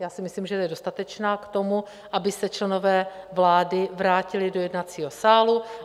Já si myslím, že je dostatečná k tomu, aby se členové vlády vrátili do jednacího sálu.